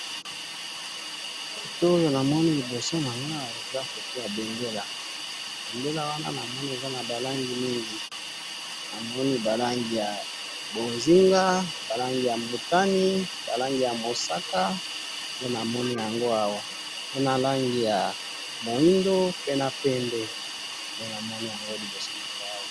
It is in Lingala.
photo oyo namoni liboso na ngai eza photo ya mbendela, mbendela wana namoni eza naba rangi mingi ,namoni ba rangi ya mbonzinga, ba rangi ya mosaka, ba rangi mbotani , nde namoni yango awa pe naba rangi ya moyindo pe na pembe nde namoni liboso na ngai